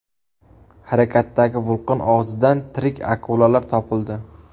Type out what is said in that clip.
Harakatdagi vulqon og‘zidan tirik akulalar topildi .